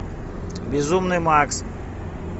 безумный макс